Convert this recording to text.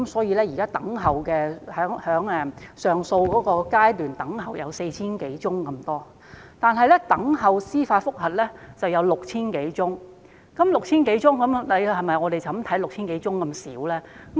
現時等候上訴的個案有 4,000 多宗，等候司法覆核的個案則多達 6,000 多宗，但實際數目是否這麼少呢？